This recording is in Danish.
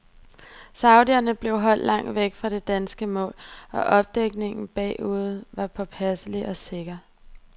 Saudierne blev holdt langt væk fra det danske mål, og opdækningen bagude var påpasselig og sikker.